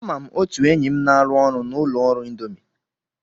Ama m otu enyi m na-arụ ọrụ na ụlọ ọrụ Indomi.